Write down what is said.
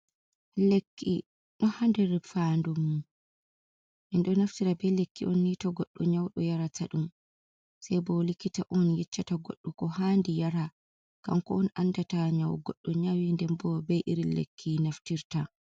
Lekki dohadér fandumum, mindó naftira bei lekki on nitó goddó nyáudó yara ta dum. Sai bo likita on yeccata goddo ko handi yara kanko on andata nyawú goddo nyawí ndenbó bei irin lekki naftirta.